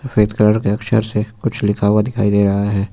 सफेद कलर के अक्षर से कुछ लिखा हुआ दिखाई दे रहा है।